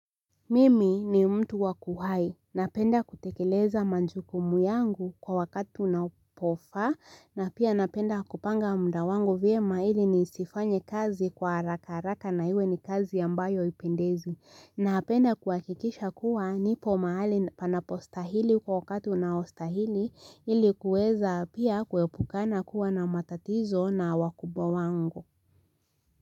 Mimi ni mtu wa kuhai, napenda kutekeleza majukumu yangu kwa wakati unapofaa, na pia napenda kupanga muda wangu vyema ili nisifanye kazi kwa haraka haraka na iwe ni kazi ambayo haipendezi, napenda kuhakikisha kuwa nipo mahali panapostahili kwa wakati unaostahili ili kuweza pia kuepukana kuwa na matatizo na wakubwa wangu.